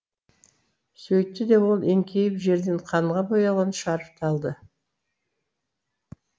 сөйтті де ол еңкейіп жерден қанға боялған шарфты алды